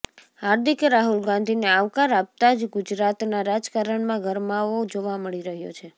હાર્દિકે રાહુલ ગાંધીને આવકાર આપતા જ ગુજરાતના રાજકારણમાં ગરમાવો જોવા મળી રહ્યો છે